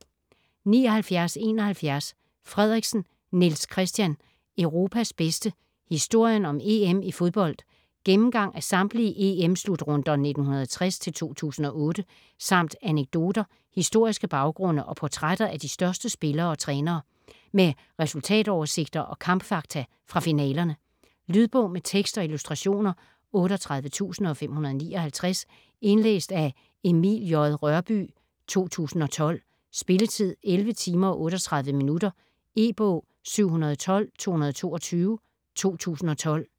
79.71 Frederiksen, Niels Christian: Europas bedste: historien om EM i fodbold Gennemgang af samtlige EM-slutrunder 1960-2008 samt anekdoter, historiske baggrunde og portrætter af de største spillere og trænere. Med resultatoversigter og kampfakta fra finalerne. Lydbog med tekst og illustrationer 38559 Indlæst af Emil J. Rørbye, 2012. Spilletid: 11 timer, 38 minutter. E-bog 712222 2012.